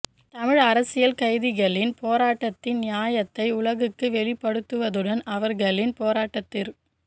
தமிழ் அரசியல் கைதிகளின் போராட்டத்தின் நியாயத்தை உலகுக்கு வெளிப்படுத்துவதுடன் அவர்களின் போராட்டத்திற்